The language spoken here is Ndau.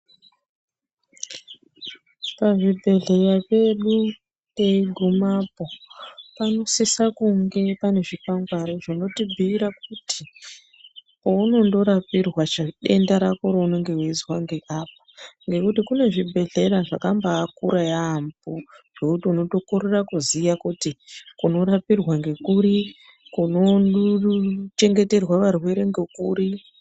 Pazvibhedhleya pedu teigumapo, panosisa kunge pane zvikwangwari zvinobhuyira kuti poundorapirwa denda rako reunenga weizwa ngeapa, ngekuti kune zvibhedhlera zvakabakura yaambo zvekuti unokorera kuziya kuti kunorapirwa ngekuri, kunochengeterwa varwere ngekuri.